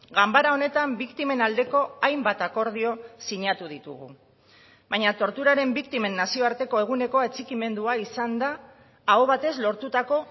ganbara honetan biktimen aldeko hainbat akordio sinatu ditugu baina torturaren biktimen nazioarteko eguneko atxikimendua izan da aho batez lortutako